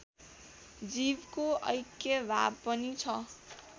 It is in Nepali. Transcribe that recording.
जीवको ऐक्यभाव पनि छ